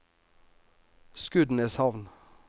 Skudeneshavn